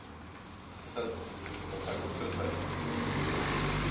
Nægir þar að taka tvö dæmi